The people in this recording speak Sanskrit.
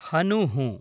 हनुः